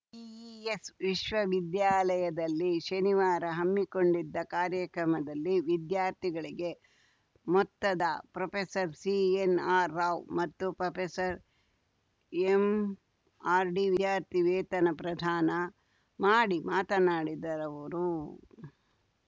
PES ವಿಶ್ವವಿದ್ಯಾಲಯದಲ್ಲಿ ಶನಿವಾರ ಹಮ್ಮಿಕೊಂಡಿದ್ದ ಕಾರ್ಯಕ್ರಮದಲ್ಲಿ ವಿದ್ಯಾರ್ಥಿಗಳಿಗೆ ಮೊತ್ತದ ಪ್ರೊಫೆಸರ್ಸಿಎನ್‌ಆರ್‌ ರಾವ್‌ ಮತ್ತು ಪ್ರೊಫೆಸರ್ಎಂಆರ್‌ಡಿ ವಿದ್ಯಾರ್ಥಿ ವೇತನ ಪ್ರದಾನ ಮಾಡಿ ಮಾತನಾಡಿದರವರು